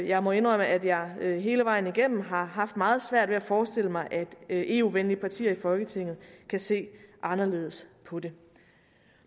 jeg må indrømme at jeg hele vejen igennem har haft meget svært ved at forestille mig at eu venlige partier i folketinget kan se anderledes på det